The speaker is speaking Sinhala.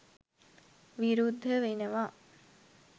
විරුද්ධ වෙනවා